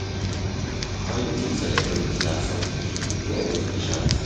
How you take celebrate di last holiday, you do any special thing?